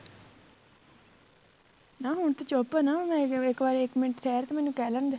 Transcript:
ਨਾ ਹੁਣ ਤੇ ਚੁੱਪ ਨਾ ਮੈਂ ਇੱਕ ਵਾਰ ਇੱਕ ਮਿੰਟ ਠਿਹਰ ਮੈਨੂੰ ਕਹਿ ਲੈਣ ਦੇ